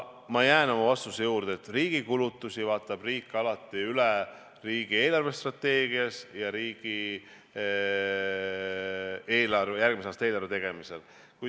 Ma jään oma vastuse juurde, et riigi kulutusi vaatab riik alati üle riigi eelarvestrateegias ja järgmise aasta eelarve tegemisel.